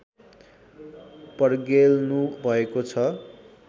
पर्गेल्नुभएको छ